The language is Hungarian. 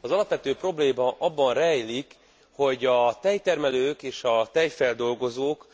Az alapvető probléma abban rejlik, hogy a tejtermelők és a tejfeldolgozók